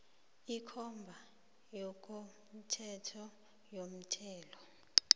ikomba yangokomthetho yomthelo